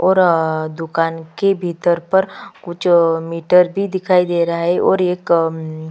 और दुकान के भीतर पर कुछ मीटर भी दिखाई दे रहै है हर एक अम्म --